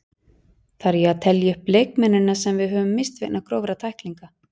Þarf ég að telja upp leikmennina sem við höfum misst vegna grófra tæklinga?